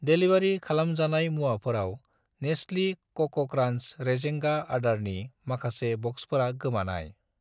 Delivery खालामजानाय मुवाफोराव नेस्लि कक' क्रान्स रेजेंगा आदारनि माखासे ब'क्सफोरा गोमानाय।